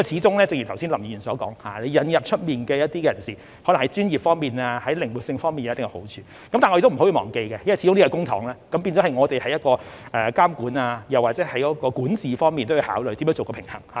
正如剛才林議員所說，引入一些外間人士，可能在專業方面或靈活性方面會有一定好處，但我們不可以忘記，因為始終是使用公帑，所以我們在監管或管治方面也要考慮如何做到平衡。